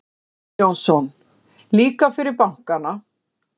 Óðinn Jónsson: Líka fyrir bankana.